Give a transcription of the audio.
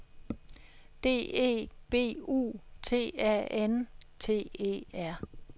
D E B U T A N T E R